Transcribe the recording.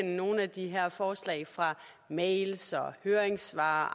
nogle af de her forslag fra mails og høringssvar